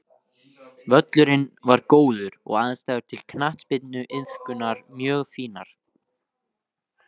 Völlurinn var góður og aðstæður til knattspyrnuiðkunar mjög fínar.